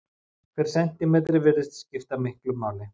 Hver sentímetri virðist skipta miklu máli.